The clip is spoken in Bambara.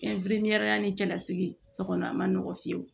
ni cɛlasigi so kɔnɔ a man nɔgɔn fiyewu